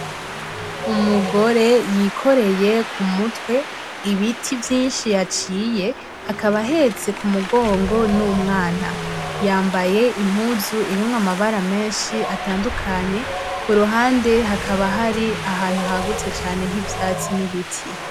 Umugore yikoreye ku mutwe ibiti vyishi yaciye akaba ahetse ku mugongo n'umwana yambaye impuzu urimwo amabara meshi atandukanye kuruhande hakaba hari ahantu hagutse cane h'ivyatsi n'ibiti.